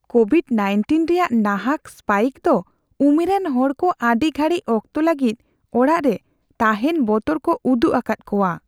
Covid-19 ᱨᱮᱭᱟᱜ ᱱᱟᱦᱟᱜ spike ᱫᱚ ᱩᱢᱮᱨᱟᱱ ᱦᱚᱲᱠᱚ ᱟᱹᱰᱤ ᱜᱷᱟᱹᱲᱤᱡ ᱚᱠᱛᱚ ᱞᱟᱹᱜᱤᱫ ᱚᱲᱟᱜ ᱨᱮ ᱛᱟᱦᱮᱱ ᱵᱚᱛᱚᱨ ᱠᱚ ᱩᱫᱩᱜ ᱟᱠᱟᱫ ᱠᱚᱣᱟ ᱾